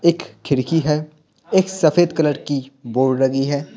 एक खिड़की है एक सफेद कलर की बोर्ड लगी है।